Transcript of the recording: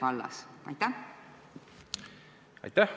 Aitäh!